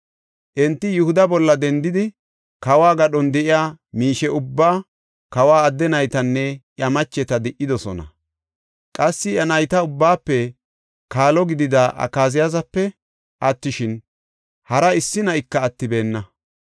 Enti Yihuda bolla dendidi kawo gadhon de7iya miishe ubbaa, kawa adde naytanne iya macheta di77idosona. Qassi, Iya nayta ubbaafe kaalo gidida Akaziyaasape attishin, hara issi na7ika attibeenna.